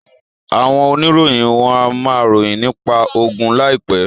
Àwọn oníròyìn wọ́n á ma ròyìn nípa ogun láìpẹ́